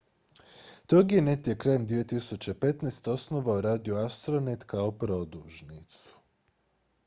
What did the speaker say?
toginet je krajem 2015. osnovao radio astronet kao podružnicu